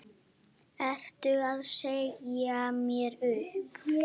Ertu að segja mér upp?